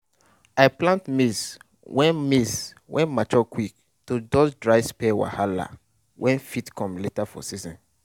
i plant maize wey maize wey mature quick to dodge dry spell wahala wey fit come later for season.